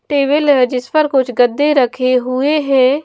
Table है जिस पर कुछ गद्दे रखे हुए हैं।